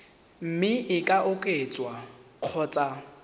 mme e ka oketswa kgotsa